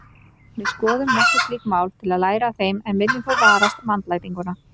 Við skoðum nokkur slík mál til að læra af þeim en viljum þó varast vandlætingu.